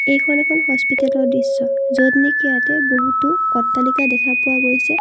এইখন এখন হস্পিতালৰ দৃশ্য য'ত নেকি ইয়াতে বহুতো অট্টালিকা দেখা পোৱা গৈছে।